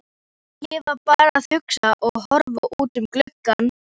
Ég var bara að hugsa og horfa út um gluggann.